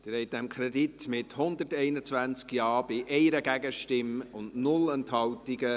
Sie haben diesem Kredit zugestimmt, mit 121 Ja-Stimmen bei 1 Gegenstimme und 0 Enthaltungen.